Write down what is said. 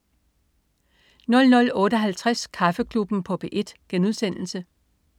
00.58 Kaffeklubben på P1*